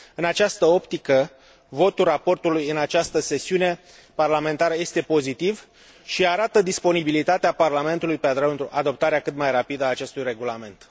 În această optică, votul raportului în această sesiune parlamentară este pozitiv și arată disponibilitatea Parlamentului pentru adoptarea cât mai rapidă a acestui regulament.